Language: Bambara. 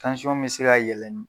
Tansɔn bɛ se ka yɛlɛn.